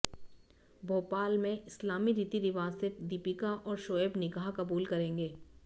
भोपाल में इस्लामी रीती रिवाज से दीपिका और शोएब निकाह कबूल करेंगे